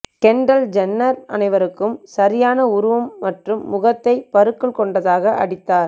Kendall Jenner அனைவருக்கும் சரியான உருவம் மற்றும் முகத்தை பருக்கள் கொண்டதாக அடித்தார்